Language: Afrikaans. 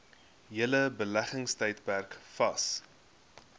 hele beleggingstydperk vas